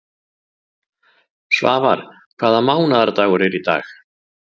Svafar, hvaða mánaðardagur er í dag?